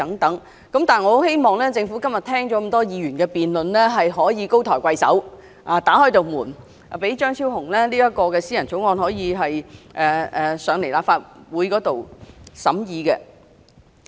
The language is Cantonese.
但是，我希望政府今天聽畢議員的辯論後高抬貴手，打開一道門，讓張超雄議員這項私人條例草案提交立法會審議。